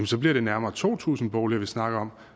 så bliver det nærmere to tusind boliger vi snakker om